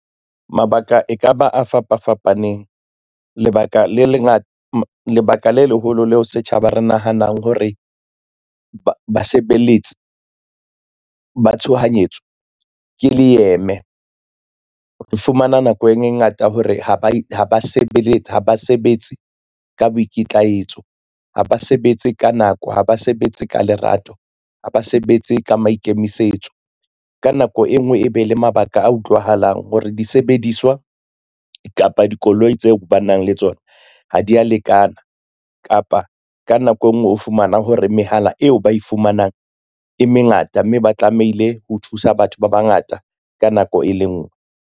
Mabaka e ka ba a fapafapaneng, lebaka le leholo leo setjhaba re nahanang hore basebeletsi ba tshohanyetso ke le eme. Re fumana nako e ngata hore ha ba sebetse ka boikitlaetso, ha ba sebetse ka nako, ha ba sebetse ka lerato, ha ba sebetse ka maikemisetso. Ka nako e ngwe e be le mabaka a utlwahalang hore disebediswa kapa dikoloi tseo ba nang le tsona ha di a lekana. Kapa ka nako e ngwe o fumana hore mehala eo ba e fumanang e mengata, mme ba tlamehile ho thusa batho ba bangata ka nako e le nngwe.